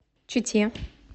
чите